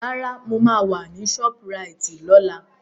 Rárá, mo máa wà ní ṣọ́púraìtì lọ́la.